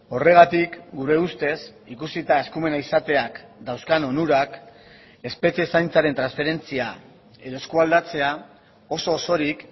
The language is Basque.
horregatik gure ustez ikusita eskumena izateak dauzkan onurak espetxe zaintzaren transferentzia edo eskualdatzea oso osorik